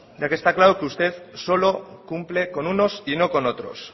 ya que está claro que usted solo cumple con unos y no con otros